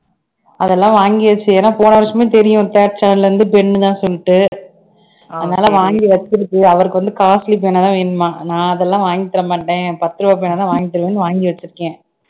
அதெல்லாம் வாங்கியாச்சு ஏன்னா போன வருஷமும் தெரியும் third standard ல இருந்து pen உ தான் சொல்லிட்டு அதனால வாங்கி வச்சிருக்கு அவருக்கு வந்து costly பேனாதான் வேணுமாம் நான் அதெல்லாம் வாங்கித் தர மாட்டேன் பத்து ரூபாய் பேனாதான் வாங்கி தருவேன்னு வாங்கி வச்சிருக்கேன்